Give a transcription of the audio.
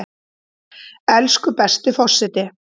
Elsku besti forseti!